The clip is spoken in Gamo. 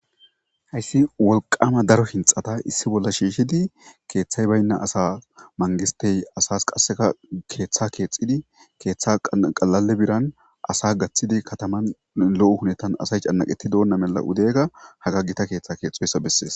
hayssi wolqama daro hinxata issi bolla shiishidi keeththay baynna asa mangistey asas qasseka keeththa keexxidi keeththa qalale biran asa gaththidi kataman lo'u hunettan asay canaqetti doonna mela udega haga gita keeththa keexxoysa bessees.